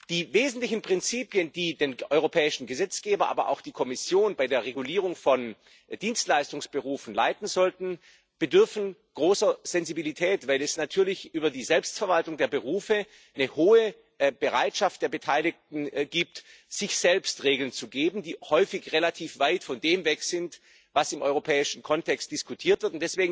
Die wesentlichen Prinzipien, die den europäischen Gesetzgeber, aber auch die Kommission, bei der Regulierung von Dienstleistungsberufen leiten sollten, bedürfen großer Sensibilität, weil es natürlich hinsichtlich der Selbstverwaltung der Berufe eine hohe Bereitschaft der Beteiligten gibt, sich selbst Regeln zu geben, die häufig relativ weit von dem weg sind, was im europäischen Kontext diskutiert wird.